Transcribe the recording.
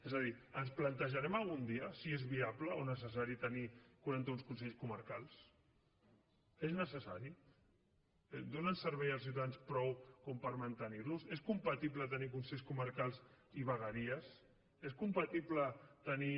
és a dir ens plantejarem algun dia si és viable o necessari tenir quaranta un consells comarcals és necessari donen servei als ciutadans prou com per mantenir los és compatible tenir consells comarcals i vegueries és compatible tenir